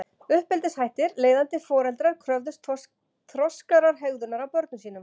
Uppeldishættir Leiðandi foreldrar kröfðust þroskaðrar hegðunar af börnum sínum.